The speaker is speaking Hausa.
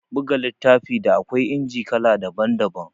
Buga littafi, da akwai inji kala daban-daban